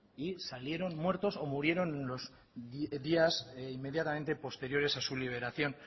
y salieron muertos o murieron en los días inmediatamente posteriores a su liberación